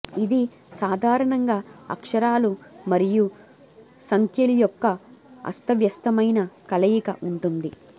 ఇది సాధారణంగా అక్షరాలు మరియు సంఖ్యలు యొక్క అస్తవ్యస్తమైన కలయిక ఉంటుంది